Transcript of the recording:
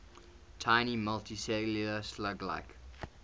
tiny multicellular slug like